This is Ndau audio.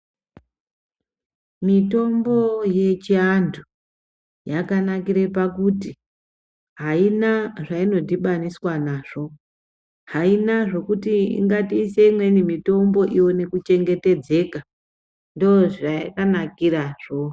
Mitombo yechi antu yaka nakire pakuti ayina zvaino dhibaniswa nazvo haina zvokuti ingato ise imweni mitombo iwone ku chengetedzeka ndo zvayaka nakira zvo.